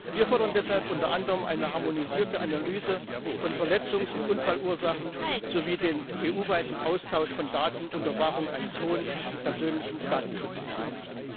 Wir fordern deshalb unter anderem eine harmonisierte Analyse von Verletzungs und Unfallursachen sowie den EU weiten Austausch von Daten unter Wahrung eines hohen persönlichen Datenschutzniveaus.